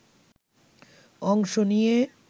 অংশ নিয়ে